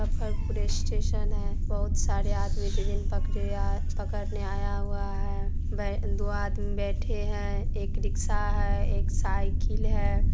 Muzaffarpur station है बहोत सारे आदमी ट्रेन पकरे आ पकरने आया हुआ है बे दो आदमी बैठे है एक रिक्शा है एक साइकिल है।